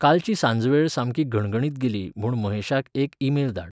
कालची सांजवेळ सामकी घणघणीत गेली म्हूण महेशाक एक ईमेल धाड